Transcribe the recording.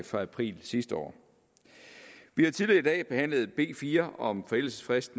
fra april sidste år vi har tidligere i dag behandlet b fire om forældelsesfrist